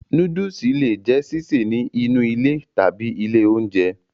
Nóódùsì le è jẹ́ sísè ní inú ilé tàbí ní ilé oúnjẹ